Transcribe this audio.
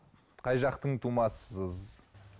қай жақтың тумасысыз